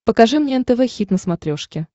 покажи мне нтв хит на смотрешке